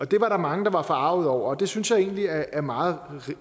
det var der mange der var forargede over og det synes jeg egentlig er er meget